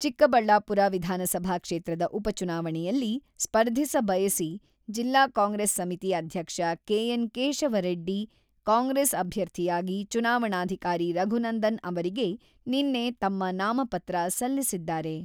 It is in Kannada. ಚಿಕ್ಕಬಳ್ಳಾಪುರ ವಿಧಾನಸಭಾ ಕ್ಷೇತ್ರದ ಉಪಚುನಾವಣೆಯಲ್ಲಿ ಸ್ಪರ್ಧಿಸ ಬಯಸಿ ಜಿಲ್ಲಾ ಕಾಂಗ್ರೆಸ್ ಸಮಿತಿ ಅಧ್ಯಕ್ಷ ಕೆ.ಎನ್.ಕೇಶವ ರೆಡ್ಡಿ ಕಾಂಗ್ರೆಸ್ ಅಭ್ಯರ್ಥಿಯಾಗಿ ಚುನಾವಣಾಧಿಕಾರಿ ರಘುನಂದನ್ ಅವರಿಗೆ ನಿನ್ನೆ ತಮ್ಮ ನಾಮಪತ್ರ ಸಲ್ಲಿಸಿದ್ದಾರೆ.